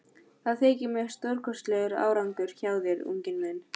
Það þykir mér stórkostlegur árangur hjá þér, unginn minn.